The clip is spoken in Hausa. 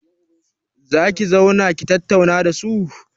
Za ki zauna ki tattauna da su?